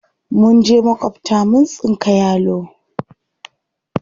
Mun je maƙwabta mun tsinka yalo.